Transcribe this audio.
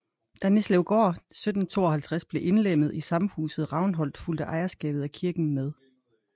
Da Nislevgård 1752 blev indlemmet i samhuset Ravnholt fulgte ejerskabet af kirken med